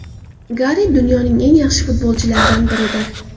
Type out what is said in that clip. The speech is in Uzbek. Garet dunyoning eng yaxshi futbolchilaridan biridir.